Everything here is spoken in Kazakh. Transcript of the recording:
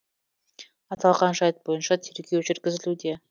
аталған жайт бойынша тергеу жүргізілуде